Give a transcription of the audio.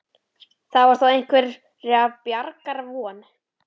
Þar var þó einhverrar bjargar von.